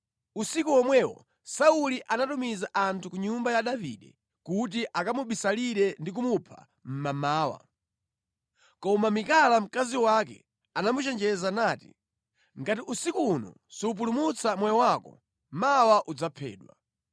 Usiku womwewo Sauli anatumiza anthu ku nyumba ya Davide kuti akamubisalire ndi kumupha mmamawa. Koma Mikala mkazi wake anamuchenjeza nati, “Ngati usiku uno supulumutsa moyo wako, mawa udzaphedwa.”